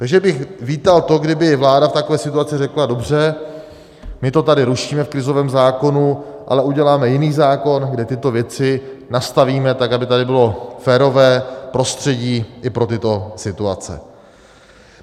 Takže bych vítal to, kdyby vláda v takové situaci řekla: dobře, my to tady rušíme v krizovém zákonu, ale uděláme jiný zákon, kdy tyto věci nastavíme tak, aby tady bylo férové prostředí i pro tyto situace.